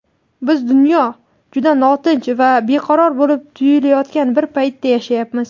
Biz dunyo juda notinch va beqaror bo‘lib tuyulayotgan bir paytda yashayapmiz.